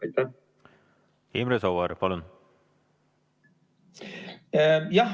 Imre Sooäär, palun!